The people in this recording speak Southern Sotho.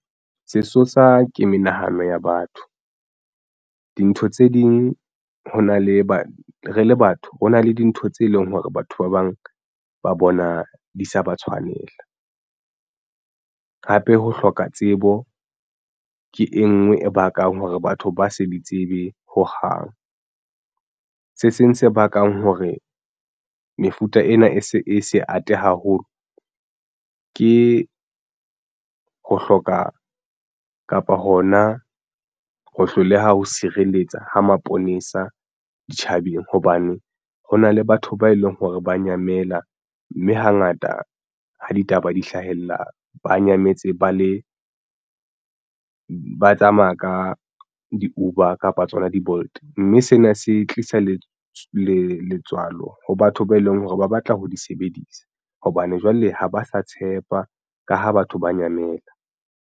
Sesosa ke menahano ya batho dintho tse ding ho na le re le batho ho na le dintho tse leng hore batho ba bang ba bona di sa ba tshwanela. Hape ho hloka tsebo ke e nngwe e bakang hore batho ba sa di tsebe ho hang. Se seng se bakang hore mefuta ena e se e se ate haholo ke ho hloka kapa hona ho hloleha ho sireletsa ho maponesa ditjhabeng hobane ho na le batho ba e leng hore ba nyamela, mme hangata ha ditaba di hlahella ba nyametse ba le ba tsamaya ka di-Uber kapa tsona di-Bolt mme sena se tlisa le letswalo ho batho ba eleng hore ba batla ho di sebedisa hobane jwale ha ba sa tshepa, ka ha batho ba nyamela.